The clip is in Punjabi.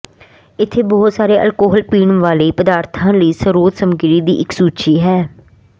ਇੱਥੇ ਬਹੁਤ ਸਾਰੇ ਅਲਕੋਹਲ ਪੀਣ ਵਾਲੇ ਪਦਾਰਥਾਂ ਲਈ ਸਰੋਤ ਸਮੱਗਰੀ ਦੀ ਇੱਕ ਸੂਚੀ ਹੈ